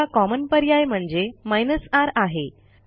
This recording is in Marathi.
दुसरा कॉमन पर्याय म्हणजे r आहे